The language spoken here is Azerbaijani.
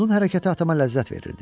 Onun hərəkəti atama ləzzət verirdi.